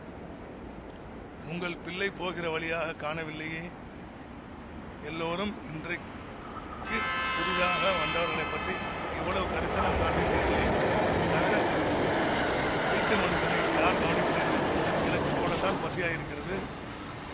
உங்கள் பிள்ளை போகிற வழியாக காணவில்லையே எல்லோரும் இன்றைக்கு புதிதாக வந்தவர்களைப்பற்றி இவ்வளவு கரிசனம் காட்டுகிறீர்களே தவிர வீட்டு மனுஷனை யார் கவனிக்கிறீர்கள் எனக்கு கூடத்தான் பசியாயிருக்கிறது